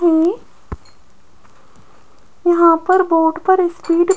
हैं यहां पर बोर्ड पर स्पीड --